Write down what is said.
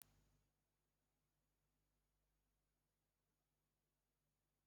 Noah ji nduru mere onye ozi n'oge Baịbụl.